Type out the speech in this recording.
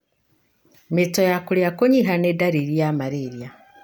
Mĩito ya kũria kũnyiha nĩ ndariri ya malaria.